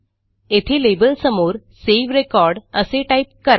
येथे लेबलसमोरSave रेकॉर्ड असे टाईप करा